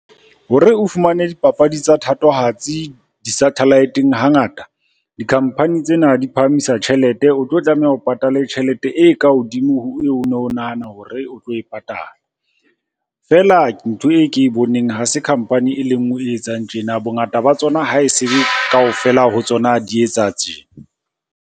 Hore o fumane dipapadi tsa thatohatsi di-satellite-eng hangata. Di-company tsena di phahamisa tjhelete, o tlo tlameha ho patale tjhelete e ka hodimo ho eo no nahana hore o tlo e patala. Feela ntho e ke e boneng ha se company e le nngwe e etsang tjena, bongata ba tsona ha se kaofela ha tsona di etsa tjena.